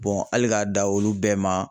hali k'a da olu bɛɛ ma